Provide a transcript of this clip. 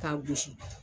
K'a gosi